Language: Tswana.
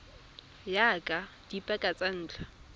ya ka dipaka tsa ntlha